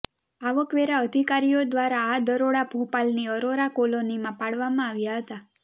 આવકવેરા અધિકારીઓ દ્વારા આ દરોડા ભોપાલની અરોરા કોલોનીમાં પાડવામાં આવ્યા હતા